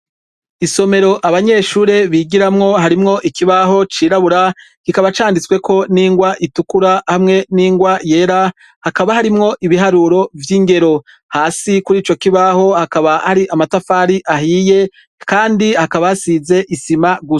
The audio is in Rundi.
Isomero abanyeshure bigiramwo harimwo ikibaho cirabura kikaba canditsweko ningwa itukura hamwe n'ingwa yera hakaba harimwo ibiharuro vyingero, hasi kurico kibaho hakaba hari amatafari ahiye kandi hakaba hasize isima gusa.